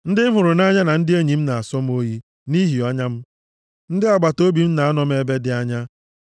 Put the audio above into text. Ndị m hụrụ nʼanya na ndị enyi m na-asọ m oyi nʼihi ọnya m, ndị agbataobi m na-anọ m ebe dị anya.